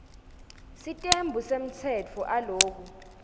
sitembu semtsetfo aloku